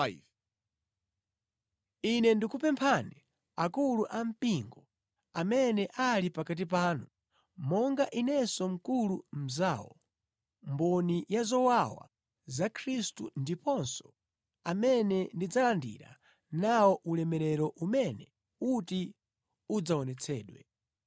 Ine ndikupempha akulu a mpingo amene ali pakati panu, monga inenso mkulu mnzawo, mboni ya zowawa za Khristu ndiponso amene ndidzalandira nawo ulemerero umene uti udzaonetsedwe.